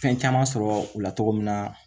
Fɛn caman sɔrɔ u la cogo min na